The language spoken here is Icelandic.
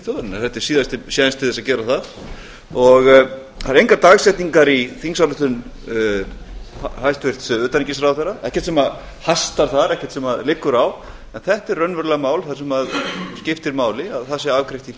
þjóðarinnar þetta er síðasti séns til að gera það það eru engar dagsetningar í þingsályktun hæstvirts utanríkisráðherra ekkert sem liggur á þetta er raunverulega mál sem skiptir máli að það sé afgreitt í